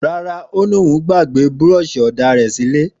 Ràrá, òní òún gbàgbẹ búrọṣi òdá rẹ ṣilẹ